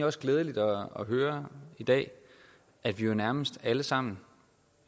også glædeligt at høre i dag at vi jo nærmest alle sammen